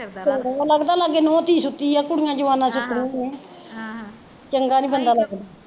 ਚੰਗਾ ਨੀ ਲੱਗਦਾ ਲਾਗੇ ਨੂਹ ਧੀ ਸੁੱਤੀ ਆ ਕੁੜੀਆ ਜਵਾਨਾਂ ਸੁੱਤੀਆ ਆ ਆਹ ਚੰਗਾ ਨੀ ਬੰਦਾ ਲੱਗਦਾ